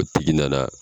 O tigi nana